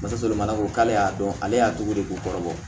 Basalemana ko k'ale y'a dɔn ale y'a togo de k'u kɔrɔ bɔ